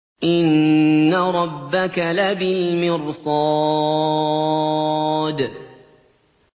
إِنَّ رَبَّكَ لَبِالْمِرْصَادِ